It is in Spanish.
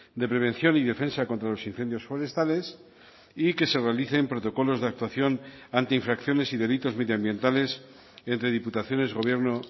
de prevención y defensa contra los incendios forestales y que se realicen protocolos de actuación ante infracciones y delitos medioambientales entre diputaciones gobierno